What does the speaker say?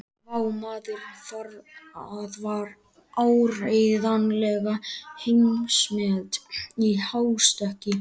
Vá, maður, það var áreiðanlega heimsmet í hástökki.